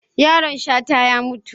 Yaron Shata ya mutu.